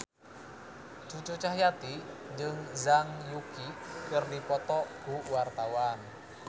Cucu Cahyati jeung Zhang Yuqi keur dipoto ku wartawan